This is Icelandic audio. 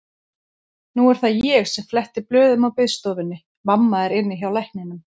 Nú er það ég sem fletti blöðum á biðstofunni, mamma er inni hjá lækninum.